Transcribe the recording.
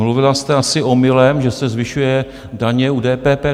Mluvila jste asi omylem, že se zvyšují daně u DPP.